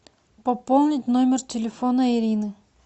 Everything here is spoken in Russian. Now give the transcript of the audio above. пополнить номер телефона ирины